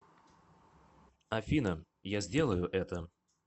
афина я сделаю это